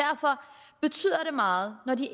meget når de